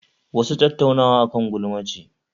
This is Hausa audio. Wasu Tattaunawa akan gulma ce